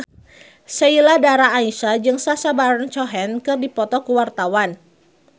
Sheila Dara Aisha jeung Sacha Baron Cohen keur dipoto ku wartawan